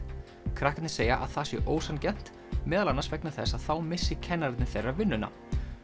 krakkarnir segja að það sé ósanngjarnt meðal annars vegna þess að þá missi kennararnir þeirra vinnuna